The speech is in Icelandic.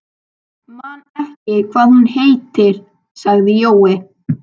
Man ekki hvað hún heitir, sagði Jói.